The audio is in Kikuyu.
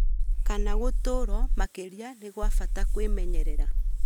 kana gũtuurwo makĩria nĩ gwa bata kwĩmenyerera